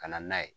Ka na n'a ye